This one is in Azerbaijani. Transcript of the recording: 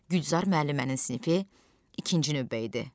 Gülzar müəllimənin sinifi ikinci növbə idi.